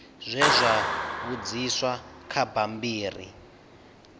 zwe zwa vhudziswa kha bammbiri